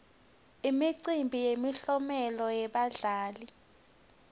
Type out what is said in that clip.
imicimbi yemiklomelo yebadlali